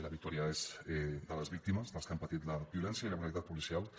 la victòria és de les víctimes dels que han patit la violència i la brutalitat policials